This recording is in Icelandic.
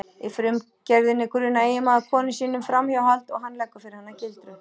Í frumgerðinni grunar eiginmaður konu sína um framhjáhald og hann leggur fyrir hana gildru.